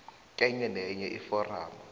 kenye nenye iforamu